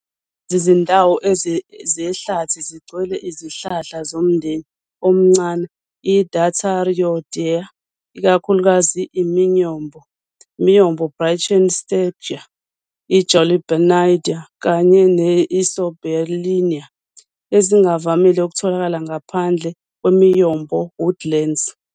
Lezi zindawo zehlathi zigcwele izihlahla zomndeni omncane i-Detarioideae, ikakhulukazi i-miyombo, "Brachystegia", "i-Julbernardia" kanye ne"-Isoberlinia", ezingavamile ukutholakala ngaphandle kwe-miyombo woodlands.